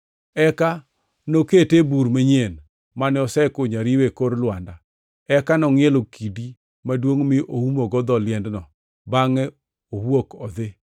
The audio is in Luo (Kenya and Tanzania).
eka nokete e bur manyien mane osekunyo ariwa e kor lwanda, eka nongʼielo kidi maduongʼ mi oumogo dho liendno bangʼe owuok odhi.